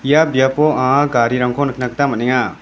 ia biapo anga garirangko nikna gita man·enga.